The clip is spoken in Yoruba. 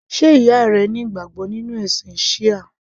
Sé ìyá rẹ ní ìgbàgbọ́ nínú ẹ̀sìn Shia?